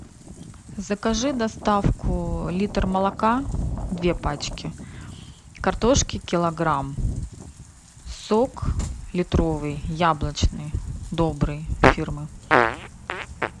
закажи доставку литр молока две пачки картошки килограмм сок литровый яблочный добрый фирмы